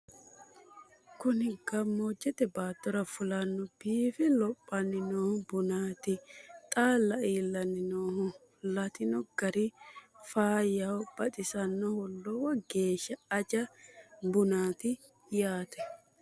kuni gammoojje baattora fulanno biife lophanni noo bunaati xaalla iillanni nooho lattino gari faayyaho baxisannoho lowo geeshsha aja bunchooti yaate